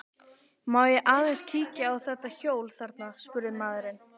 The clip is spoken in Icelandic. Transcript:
Má ég aðeins kíkja á þetta hjól þarna, spurði maðurinn.